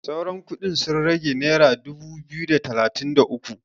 sauran kudin sun rage naira dubu biyu da talatin da uku